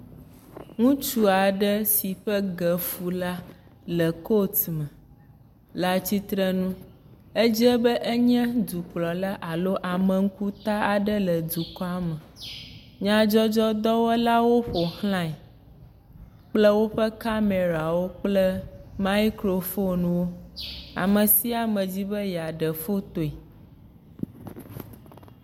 Ŋutsu aɖe si ƒe ge fu la le kot me le atsitre nu, edze be enye dukplɔla alo ame ŋkuta aɖele dukɔa me, nyadzɔdzɔdɔwɔlawo ƒo xlae kple woƒe kamɛrawo kple maikrofonwo, ame sia ame di be yeaɖe fotoe.